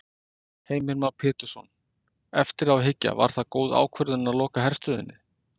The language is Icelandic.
Heimir Már Pétursson: Eftir á að hyggja, var það góð ákvörðun að loka herstöðinni?